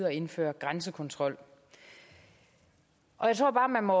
at indføre grænsekontrol og jeg tror bare man må